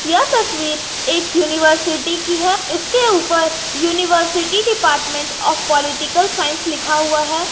यह तस्वीर एक यूनिवर्सिटी की है इसके ऊपर university department of political science लिखा हुआ है।